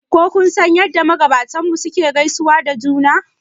Ko kun san yadda magabatanmu suke gaisawa da juna